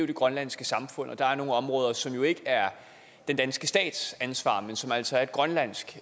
det grønlandske samfund og der er nogle områder som ikke er den danske stats ansvar men som altså er et grønlandsk